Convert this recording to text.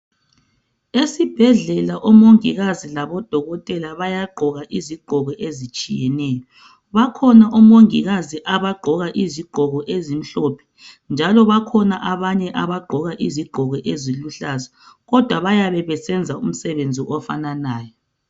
Esibhedlela omongikazi labodokotela bayagqoka izigqoko ezitshiyeneyo. Bakhona omongikazi abagqoka izigqoko ezimhlophe, njalo bakhona abanye abagqoka izigqoko eziluhlaza, kodwa bayabe besenza umsebenzi ofananayo.